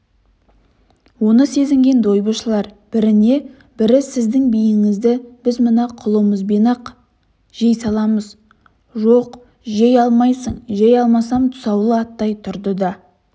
оны сезінген дойбышылар біріне бірісіздің биіңізді біз мына құлымызбен-ақ жей саламыз жоқ жей алмайсың жей алмасам тұсаулы аттай тұрды да